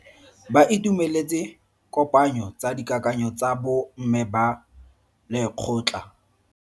Ba itumeletse kopanyo ya dikakanyo tsa bo mme ba lekgotla.